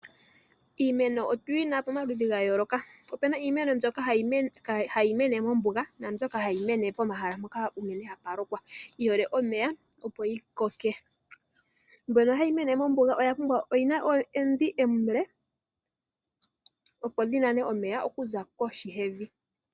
Iimeno otuyina pomaludhi gayooloka opena iimeno mbyoka hayi mene mombuga naambyoka hayi mene pomahala mpoka hapa lokwa yihole omeya. Mbono hayi mene mombuga oyina omidhi omile opo yinane omeya okuza koshi yevi.